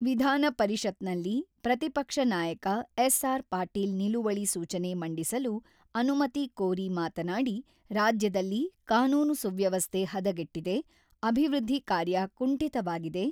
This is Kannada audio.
ವಿಧಾನ ಪರಿಷತ್‌ನಲ್ಲಿ ಪ್ರತಿಪಕ್ಷ ನಾಯಕ ಎಸ್‌.ಆರ್‌.ಪಾಟೀಲ್ ನಿಲುವಳಿ ಸೂಚನೆ ಮಂಡಿಸಲು ಅನುಮತಿ ಕೋರಿ ಮಾತನಾಡಿ, ರಾಜ್ಯದಲ್ಲಿ ಕಾನೂನು ಸುವ್ಯವಸ್ಥೆ ಹದಗೆಟ್ಟಿದೆ, ಅಭಿವೃದ್ಧಿ ಕಾರ್ಯ ಕುಂಠಿತವಾಗಿದೆ.